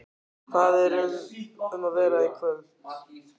Hvað er um að vera í kvöld?